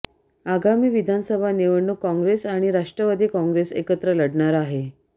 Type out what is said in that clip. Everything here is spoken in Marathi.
आगामी विधानसभा निवडणूक काँग्रेस आणि राष्ट्रवादी काँग्रेस एकत्र लढणार आहे